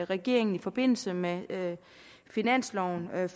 regeringen i forbindelse med finansloven